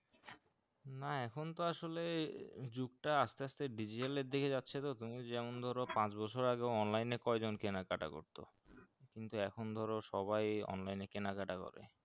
না এখন তো আসলে যুগ টা আসলে আসতে আসতে digital এর দিকে যাচ্ছে তো তুমি যেমন ধরো পাঁচ বছর আগে online কয়জন কেনা কাটা করতো কিন্তু এখন ধরো সবাই ই online এই কেনা কাটা করে